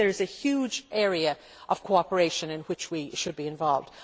I think there is a huge area of cooperation in which we should be involved.